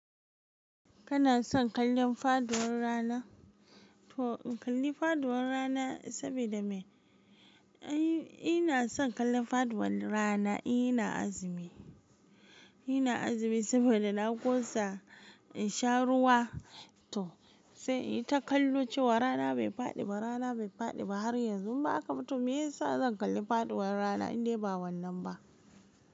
Kana son kallon faduwar rana? To in kalli faduwar rana sabida me? Ina son kallon faduwar rana, in ina azumi. Ina azumi saboda na ƙosa in sha ruwa. To sai ita kallo cewa rana bai faɗi ba, rana bai faɗi ba har yanzu. In ba haka ba, to me yasa zan kalli faɗuwar rana in dai ba wannan ba?